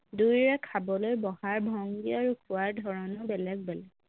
দুয়োৰে খাবলৈ বহাৰ ভংগী আৰু খোৱাৰ ধৰণো বেলেগ বেলেগ